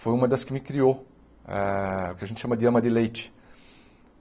foi uma das que me criou, ah o que a gente chama de ama de leite.